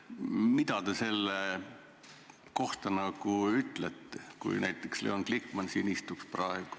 Mida te selle kohta ütleksite, kui Leon Glikman siin praegu istuks?